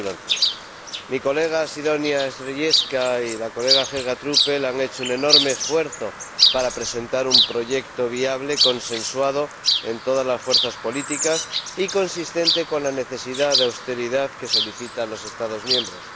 2011. Mi colega Sidonia Skrzydlewska y la señora Helga Truppel han hecho un enorme esfuerzo para presentar un proyecto viable, consensuado en todas las fuerzas políticas y coherente con la necesidad de austeridad que solicitan los Estados miembros.